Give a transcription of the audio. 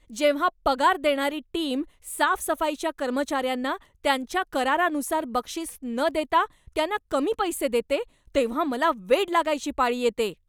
जेव्हा पगार देणारी टीम साफसफाईच्या कर्मचाऱ्यांना त्यांच्या करारानुसार बक्षीस न देता त्यांना कमी पैसे देते तेव्हा मला वेड लागायची पाळी येते.